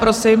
Posím.